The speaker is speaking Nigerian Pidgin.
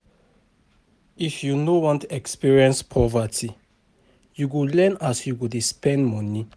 If you no wan experience poverty, you go learn as you go dey spend moni.